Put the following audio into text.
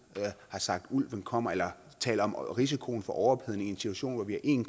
har sagt at ulven kommer eller har talt om risikoen for overophedning i en situation hvor vi har en